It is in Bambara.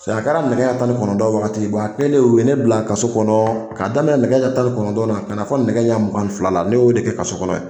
a kɛra nɛgɛ tan ni kɔnɔntɔn waati a kɛlen o ye ne bila ka so kɔnɔ ka daminɛ nɛgɛ ɲɛ tan ni kɔnɔntɔn na ka na fɔ nɛgɛ ɲɛ mugan ni fila la ne y'o de kɛ kaso kɔnɔ